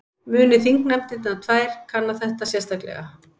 Muni þingnefndirnar tvær kanna þetta sérstaklega